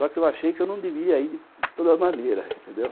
Só que eu achei que eu não deveria ir de toda maneira, entendeu?